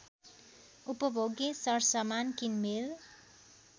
उपभोग्य सरसमान किनमेल